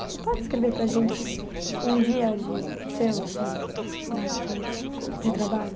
Você pode descrever para a gente um dia de seu, assim, lá na França, de trabalho?